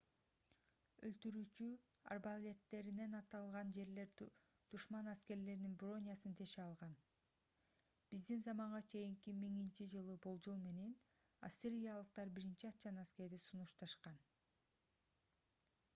өлтүрүүчү арбалеттеринен атылган жебелер душман аскерлеринин бронясын теше алган. биздин заманга чейин 1000—жылы болжол менен ассириялыктар биринчи атчан аскерди сунушташкан